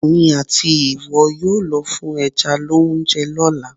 Èmi àti ìwọ yóò lọ fún ẹja lóúnjẹ lọ́la.